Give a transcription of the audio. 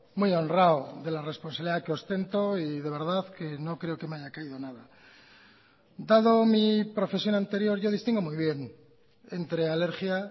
muy honrado de la responsabilidad que ostento y de verdad que no creo que me haya caído nada dado mi profesión anterior yo distingo muy bien entre alergia